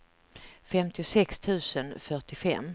femtiosex tusen fyrtiofem